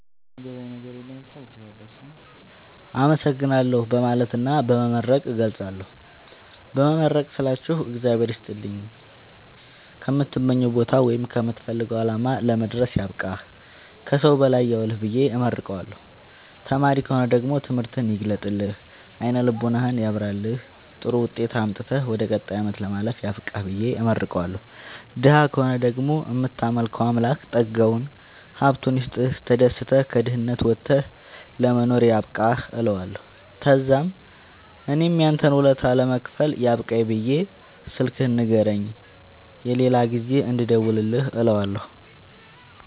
አመሠግናለሁ በማለትና በመመረቅ እገልፃለሁ። በመመረቅ ስላችሁ እግዚአብሄር ይስጥልኝ ከምትመኘዉ ቦታወይም ከምትፈልገዉ አላማ ለመድረስያብቃህ ከሠዉ በላይ ያዉልህብየ እመርቀዋለሁ። ተማሪ ከሆነ ደግሞ ትምህርትህን ይግለጥልህ አይነ ልቦናህን ያብራልህ ጥሩዉጤት አምጥተህ ወደ ቀጣይ አመት ለማለፍ ያብቃህ ብየ እመርቀዋለሁ። ደሀ ከሆነ ደግሞ እምታመልከዉ አምላክ ጠጋዉን ሀብቱይስጥህ ተደስተህ ከድህነት ወተህ ለመኖር ያብቃህእለዋለሁ። ተዛምእኔም ያንተን ወለታ ለመክፈል ያብቃኝ ብየ ስልክህን ንገረኝ የሌላ ጊዜ እንድደዉልልህ እለዋለሁ